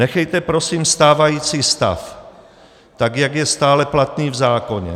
Nechejte prosím stávající stav tak, jak je stále platný v zákoně.